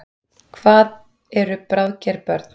Hvað eru bráðger börn?